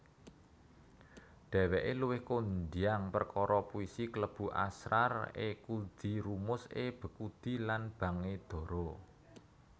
Dhèwèké luwih kondhang perkara puisi klebu Asrar e Khudi Rumuz e Bekhudi lan Bang e Dara